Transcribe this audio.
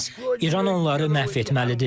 İran onları məhv etməlidir.